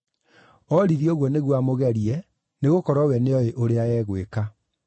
Oririe ũguo nĩguo amũgerie, nĩgũkorwo we nĩooĩ ũrĩa egwĩka.